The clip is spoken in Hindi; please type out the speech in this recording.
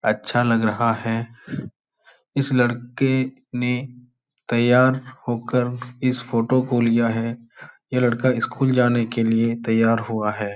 अच्छा लग रहा है। इस लड़के ने तैयार होकर इस फोटो को लिया है। ये लड़का स्कूल जाने के लिए तैयार हुआ है।